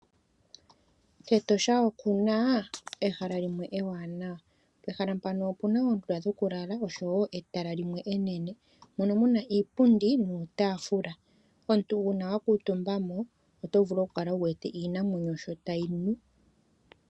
KEtosha oku na ehala limwe ewanawa. Pehala mpano opu na oondunda dhokulala oshowo etala limwe enene. Mono mu na iipundi nuutaafula. Uuna omuntu wa kuutumba mo oto vulu okukala wu wete iinamwenyo sho tayi nu.